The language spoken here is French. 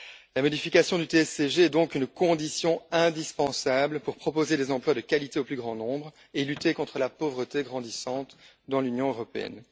La modification du TSCG est donc une condition indispensable pour proposer des emplois de qualité au plus grand nombre et lutter contre la pauvreté grandissante dans l'Union européenne.